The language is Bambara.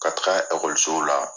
Ka taga ɛkɔlisow la